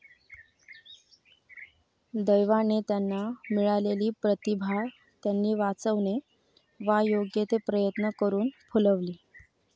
दैवाने त्यांना मिळालेली प्रतिभा त्यानी वाचवणे वा योग्य ते प्रयत्न करून फुलवली.